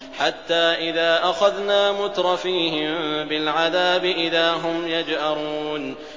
حَتَّىٰ إِذَا أَخَذْنَا مُتْرَفِيهِم بِالْعَذَابِ إِذَا هُمْ يَجْأَرُونَ